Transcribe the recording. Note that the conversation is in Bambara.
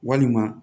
Walima